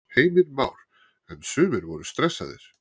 Heimir Már: En sumir voru stressaðir?